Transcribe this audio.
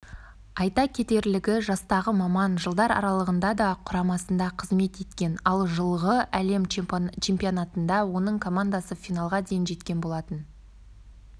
айта кетерлігі жастағы маман жылдар аралығында да құрамасында қызмет еткен ал жылғы әлем чемпионатында оның командасы финалға дейін жеткен болатын